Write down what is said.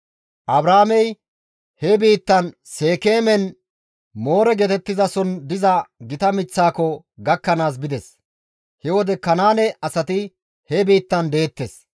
Abraamey he biittan Seekeemen Moore geetettizason diza gita miththaako gakkanaas bides; he wode Kanaane asati he biittan deettes.